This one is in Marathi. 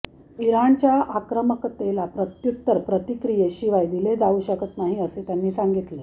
इराणच्या आक्रमकतेला प्रत्युत्तर प्रतिक्रियेशिवाय दिले जाऊ शकत नाही असे त्यांनी सांगितले